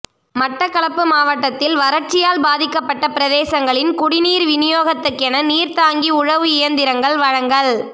மட்டக்களப்பு மாவட்டத்தில் வரட்சியால் பாதிக்கப்பட்ட பிரதேசங்களின் குடி நீர் விநியோகத்துக்கென நீர்த்தாங்கி உழவு இயந்திரங்கள் வழங்கல்